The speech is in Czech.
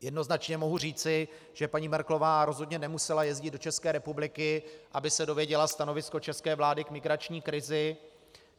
Jednoznačně mohu říci, že paní Merkelová rozhodně nemusela jezdit do České republiky, aby se dozvěděla stanovisko české vlády k migrační krizi.